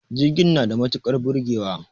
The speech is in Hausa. Jirgin na da matukar burgewa